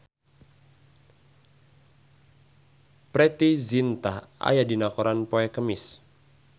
Preity Zinta aya dina koran poe Kemis